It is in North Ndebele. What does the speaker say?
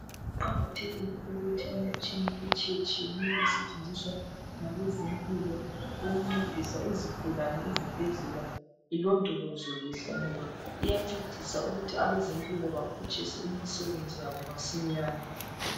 Kuqakathekile ukuthi imitshina etshiyetshiyeneyo esentshenziswa ngabezempilo ukuncedisa izigulane eZibhedlela ilondolozwe kuhle ngoba, iyancedisa ukuthi abezempilo baphutshise imisebenzi yabo masinyane.